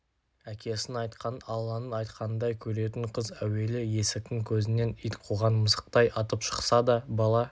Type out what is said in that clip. әкесінің айтқанын алланың айтқанындай көретін қыз әуелі есіктің көзінен ит қуған мысықтай атып шықса да бала